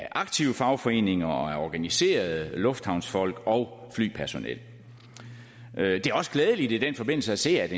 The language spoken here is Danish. aktive fagforeninger og organiserede lufthavnsfolk og flypersonel det er også glædeligt i den forbindelse at se at